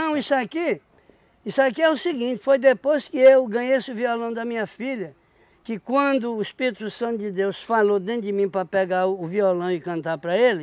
Não, isso aqui... Isso aqui é o seguinte, foi depois que eu ganhei esse violão da minha filha, que quando o Espírito Santo de Deus falou dentro de mim para pegar o violão e cantar para ele,